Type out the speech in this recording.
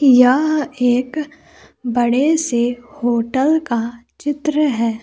यह एक बड़े से होटल का चित्र है।